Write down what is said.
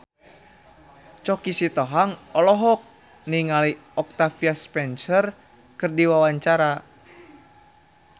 Choky Sitohang olohok ningali Octavia Spencer keur diwawancara